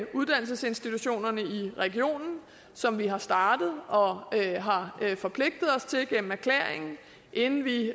uddannelsesinstitutionerne i regionen som vi har startet og forpligtet os til gennem erklæringen inden vi